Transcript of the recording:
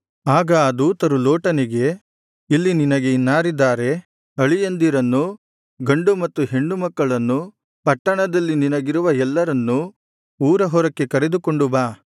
ಆಗ ಆ ದೂತರು ಲೋಟನಿಗೆ ಇಲ್ಲಿ ನಿನಗೆ ಇನ್ನಾರಿದ್ದಾರೆ ಅಳಿಯಂದಿರನ್ನೂ ಗಂಡು ಮತ್ತು ಹೆಣ್ಣು ಮಕ್ಕಳನ್ನೂ ಪಟ್ಟಣದಲ್ಲಿ ನಿನಗಿರುವ ಎಲ್ಲರನ್ನೂ ಊರ ಹೊರಕ್ಕೆ ಕರೆದುಕೊಂಡು ಬಾ